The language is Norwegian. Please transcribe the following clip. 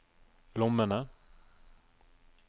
lommene